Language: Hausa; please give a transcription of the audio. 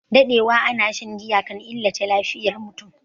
Daɗewa ana shan giya kan illata lafiyar mutum